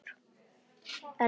En mamma þín, fannstu hana?